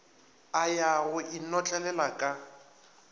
a ya go inotlelela ka